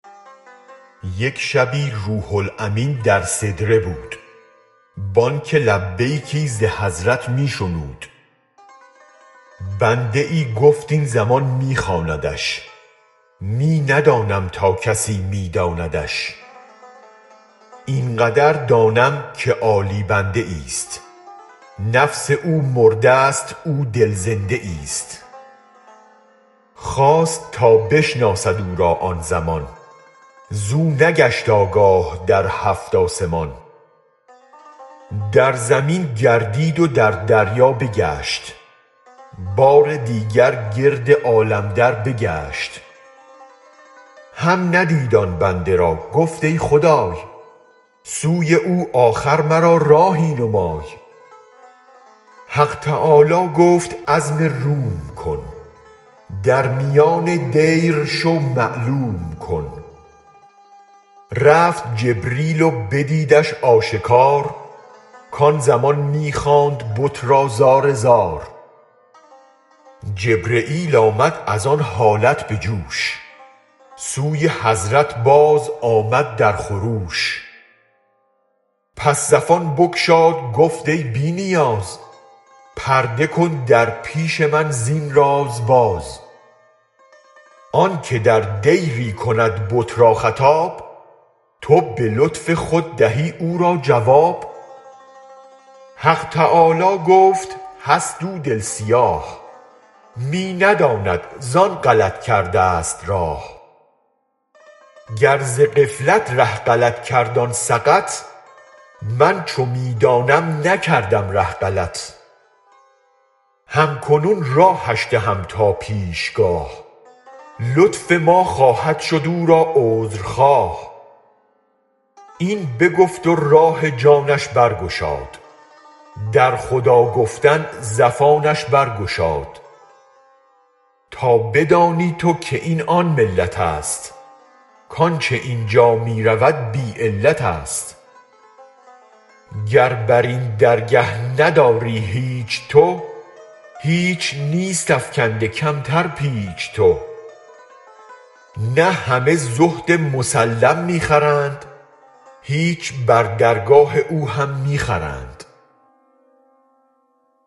یک شبی روح الامین در سدره بود بانگ لبیکی ز حضرت می شنود بنده ای گفت این زمان می خواندش می ندانم تا کسی می داندش این قدر دانم که عالی بنده ایست نفس او مرده است او دل زنده ایست خواست تا بشناسد او را آن زمان زو نگشت آگاه در هفت آسمان در زمین گردید و در دریا بگشت بار دیگر گرد عالم دربگشت هم ندید آن بنده را گفت ای خدای سوی او آخر مرا راهی نمای حق تعالی گفت عزم روم کن در میان دیر شو معلوم کن رفت جبرییل و بدیدش آشکار کان زمان می خواند بت را زارزار جبرییل آمد از آن حالت بجوش سوی حضرت بازآمد در خروش پس زفان بگشاد گفت ای بی نیاز پرده کن در پیش من زین راز باز آنک در دیری کند بت را خطاب تو به لطف خود دهی او را جواب حق تعالی گفت هست او دل سیاه می نداند زان غلط کردست راه گر ز غفلت ره غلط کرد آن سقط من چو می دانم نکردم ره غلط هم کنون راهش دهم تا پیشگاه لطف ما خواهد شد او را عذر خواه این بگفت و راه جانش برگشاد در خدا گفتن زفانش برگشاد تا بدانی تو که این آن ملتست کانچ اینجا می رود بی علتست گر برین درگه نداری هیچ تو هیچ نیست افکنده کمتر پیچ تو نه همه زهد مسلم می خرند هیچ بر درگاه او هم می خرند